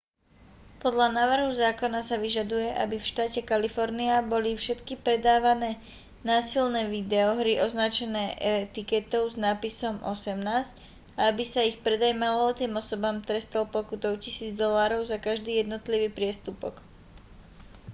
podľa návrhu zákona sa vyžaduje aby v štáte kalifornia boli všetky predávané násilné videohry označené etiketou s nápisom 18 a aby sa ich predaj maloletým osobám trestal pokutou 1 000 dolárov za každý jednotlivý priestupok